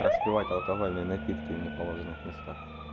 распивать алкогольные напитки в неположенных местах